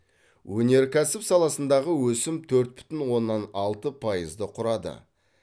өнеркәсіп саласындағы өсім төрт бүтін оннан алты пайызды құрады